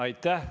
Aitäh!